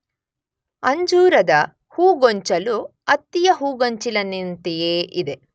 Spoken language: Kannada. ಅಂಜೂರದ ಹೂಗೊಂಚಲು ಅತ್ತಿಯ ಹೂಗೊಂಚಲಿನಂತೆಯೇ ಇದೆ.